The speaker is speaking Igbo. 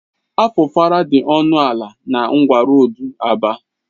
Afufara dị ọnụ ala na ngwa roodu ABA